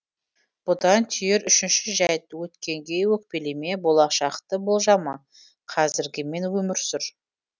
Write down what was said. бұдан түйер үшінші жәйт өткенге өкпелеме болашақты болжама қазіргімен өмір сүр